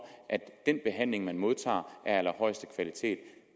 at den behandling man modtager er af allerhøjeste kvalitet